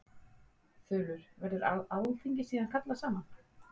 Þulur: Verður alþingi síðan kallað saman?